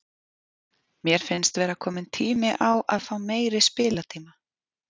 Mér finnst vera kominn tími á að fá meiri spiltíma